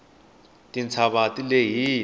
titshava ti lehile